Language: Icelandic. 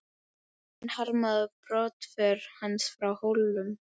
Enginn harmaði brottför hans frá Hólum.